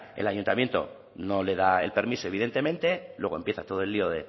el ayuntamiento no le da el permiso evidentemente luego empieza todo el lío